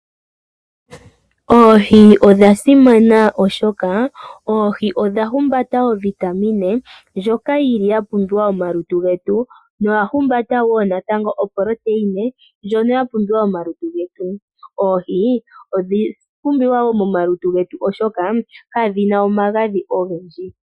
Oohi odha simana, oshoka oohi odha humbata ovitamine ndjoka yili ya pumbiwa momalutu getu noya humbata natango optreina ndjono ya pumbiwa momalutu getu. Oohi odha pumbiwa wo momalutu getu oshoka kadhina omagadhi ogendji.